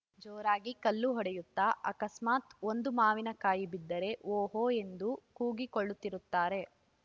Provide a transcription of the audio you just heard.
ಜೋರಾಗಿ ಕಲ್ಲು ಹೊಡೆಯುತ್ತಾ ಅಕಸ್ಮಾತ್‌ ಒಂದು ಮಾವಿನ ಕಾಯಿ ಬಿದ್ದರೆ ಹೋ ಹೋ ಎಂದು ಕೂಗಿ ಕೊಳ್ಳುತ್ತಿರುತ್ತಾರೆ